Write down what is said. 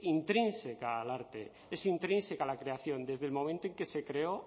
intrínseca al arte es intrínseca a la creación desde el momento en que se creó